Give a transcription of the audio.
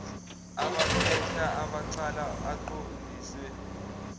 abaphehla abacala aqondiswe